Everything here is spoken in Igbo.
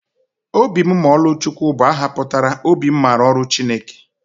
Obimmaọlụchukwu bụ aha pụtara 'obi m maara ọrụ Chineke.